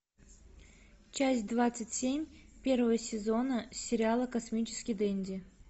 часть двадцать семь первого сезона сериала космический денди